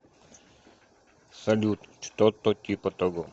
салют что то типа того